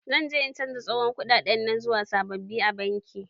Zan je in canja tsohon kuɗaɗen nan zuwa sababbi a banki.